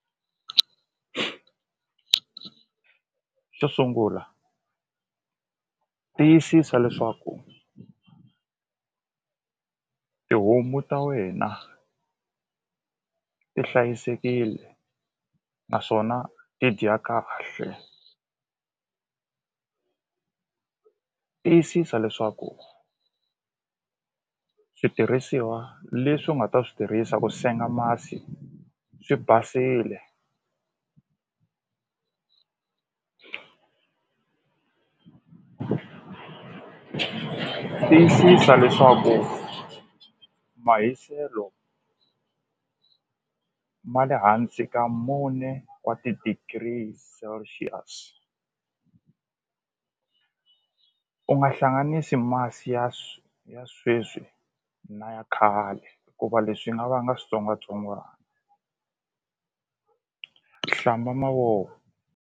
Xo sungula tiyisisa leswaku tihomu ta wena ti hlayisekile naswona ti dya kahle tiyisisa leswaku switirhisiwa leswi u nga ta swi tirhisa ku senga masi swi basile tiyisisa leswaku mahiselo ma le hansi ka mune wa ti-degrees celcius u nga hlanganisi masi ya ya sweswi na ya khale hikuva leswi swi nga vanga switsongwatsongwani hlamba mavoko.